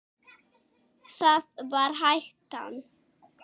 Það var hættan.